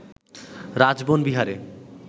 রাজবন বিহারে